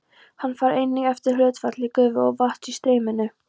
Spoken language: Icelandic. Hann fer einnig eftir hlutfalli gufu og vatns í streyminu.